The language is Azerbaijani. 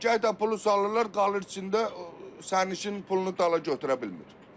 Gah da pulu salırlar, qalır içində, sərnişinin pulunu dala götürə bilmir.